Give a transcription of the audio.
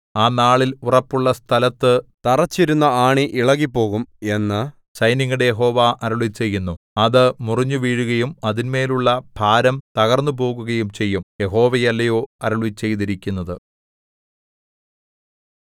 ആ നാളിൽ ഉറപ്പുള്ള സ്ഥലത്തു തറച്ചിരുന്ന ആണി ഇളകിപ്പോകും എന്നു സൈന്യങ്ങളുടെ യഹോവ അരുളിച്ചെയ്യുന്നു അത് മുറിഞ്ഞുവീഴുകയും അതിന്മേലുള്ള ഭാരം തകർന്നുപോകുകയും ചെയ്യും യഹോവയല്ലയോ അരുളിച്ചെയ്തിരിക്കുന്നത്